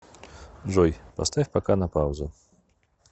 джой поставь пока на паузу